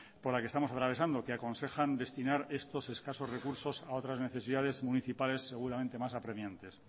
por la que estamos atravesando que aconsejan destinar estos escasos recursos a otras necesidades municipales seguramente más apremiantes